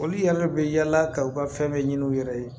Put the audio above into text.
Olu yɛlɛ bɛ yala ka u ka fɛn bɛɛ ɲini u yɛrɛ ye